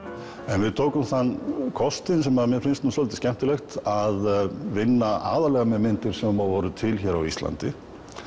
en við tókum þann kostinn sem mér finnst svolítið skemmtilegt að vinna aðallega með myndir sem voru til hér á Íslandi